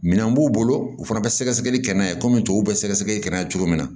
Minɛn b'u bolo u fana bɛ sɛgɛsɛgɛli kɛ n'a ye kɔmi tubabu bɛ sɛgɛsɛgɛli kɛ n'a ye cogo min na